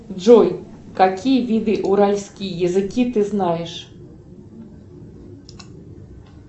джой какие виды уральские языки ты знаешь